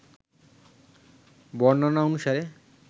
বর্ণনা অনুসারে